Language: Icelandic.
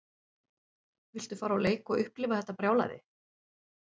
Viltu fara á leik og upplifa þetta brjálæði?